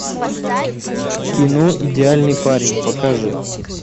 кино идеальный парень покажи